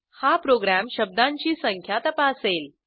हा प्रोग्रॅम शब्दांची संख्या तपासेल